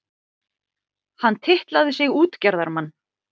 Hann titlaði sig útgerðarmann.